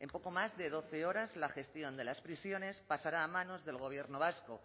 en poco más de doce horas la gestión de las prisiones pasará a manos del gobierno vasco